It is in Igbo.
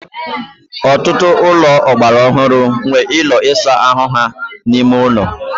ọtụtụ ụlọ ọgbara ọhụrụ nwere ụlọ ịsa ahụ ha n'ime ụlọ